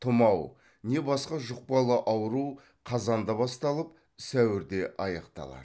тұмау не басқа жұқпалы ауру қазанда басталып сәуірде аяқталады